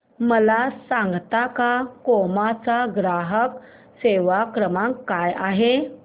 मला सांगता का क्रोमा चा ग्राहक सेवा क्रमांक काय आहे